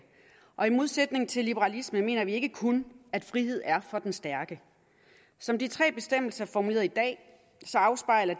modsætning til liberalisterne mener vi ikke kun at frihed er for den stærke som de tre bestemmelser er formuleret i dag afspejler